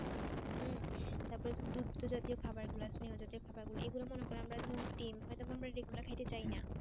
তারপরে দুগ্ধ জাতীয় খাবার গুলো স্নেহজাতীয় খাবার গুলা এগুলা মনে করো আমরা দুধ ডিম হয়ত আমরা regular খাইতে চাই না।